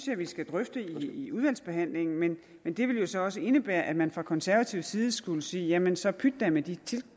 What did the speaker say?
vi skal drøfte i udvalgsbehandlingen men men det vil jo så også indebære at man fra konservativ side skulle sige jamen så pyt da med de